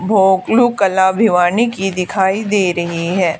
कला भिवानी की दिखाई दे रही है।